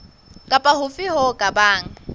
kapa hofe ho ka bang